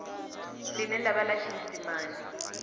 ḽine ḽa vha ḽa tshiisimane